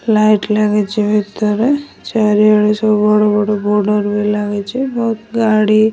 Light ଲାଗିଚି ଭିତରେ ଚାରିଆଡେ ସବୁ ବଡ ବଡ ବୋର୍ଡର ବି ଲାଗିଚି ବହୁତ ଗାଡି।